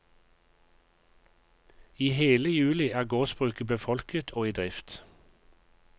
I hele juli er gårdsbruket befolket og i drift.